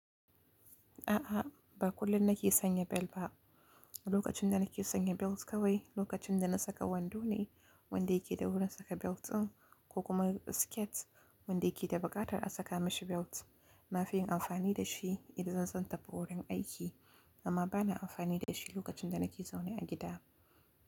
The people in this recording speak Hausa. A'a, ba kullum nake sanya bel ba. Lokacin da nake sanya belt kawai lokacin da na saka wando ne, wanda yake da wurin na saka belt ɗin ko kuma skirt wanda yake da buƙatar a saka mashi belt. Nafiyin amfani da shi idan zan tafi wurin aiki, amma bana amfani da shi lokacin da nake zaune a gida.